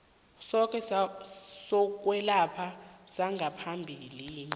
sakho sokwelapha sangaphambilini